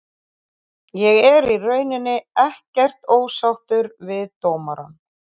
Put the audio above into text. Ég er í rauninni ekkert ósáttur við dómarann.